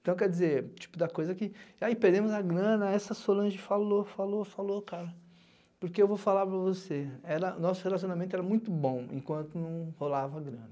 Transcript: Então, quer dizer, tipo da coisa que, aí perdemos a grana, essa Solange falou, falou, falou, falou, cara, porque eu vou falar para você, nosso relacionamento era muito bom, enquanto não rolava a grana.